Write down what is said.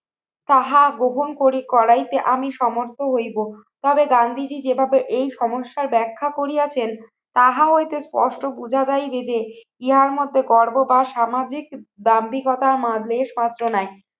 তাহা গ্রহণ করে করাইতে আমি সমর্থ হইবো। তবে গান্ধীজী যেভাবে এই সমস্যার ব্যাখ্যা করিয়াছেন তাহা হইতে পষ্ট বুঝা যায় যে ইহার মধ্যে গর্ব বা সামাজিক দাম্ভিকতা মাঝের কষ্ট নাই।